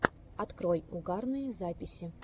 открой угарные записи